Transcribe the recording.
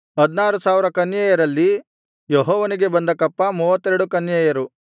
16000 ಕನ್ಯೆಯರಲ್ಲಿ ಯೆಹೋವನಿಗೆ ಬಂದ ಕಪ್ಪ 32 ಕನ್ಯೆಯರು